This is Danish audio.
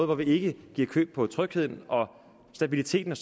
hvor vi ikke giver køb på trygheden stabiliteten og